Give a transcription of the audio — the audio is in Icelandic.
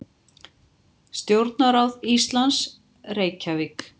Stjórnarráð Íslands, Reykjavík.